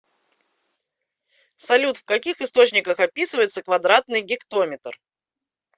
салют в каких источниках описывается квадратный гектометр